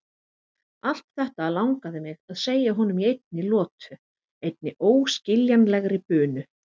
Allt þetta langaði mig að segja honum í einni lotu, einni óskiljanlegri bunu.